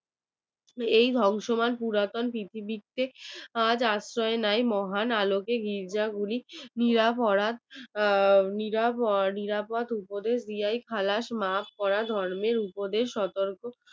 এই ধ্বংসময় পুরাতন পৃথিবীতে আজ আশ্রয় নেয় মহান আলোকের গির্জাগুলি নিরা ভরা পিরান নিরাপদ উপদেশ দেয় মাফ করার ধর্মের উপদেশ সতর্ক